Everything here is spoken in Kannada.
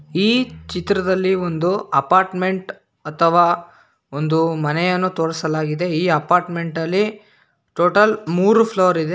ಈ ಚಿತ್ರದಲ್ಲಿ ಒಂದು ಅಪಾರ್ಟ್ಮೆಂಟ್ ಅಥವಾ ಒಂದು ಮನೆಯನ್ನು ತೋರಿಸಲಾಗಿದೆ ಈ ಅಪಾರ್ಟ್ಮೆಂಟ ಲ್ಲಿ ಟೋಟಲ್ ಮೂರು ಫ್ಲೋರ್ ಇದೆ.